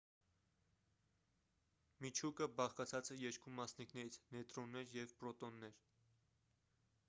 միջուկը բաղկացած է երկու մասնիկներից նեյտրոններ և պրոտոններ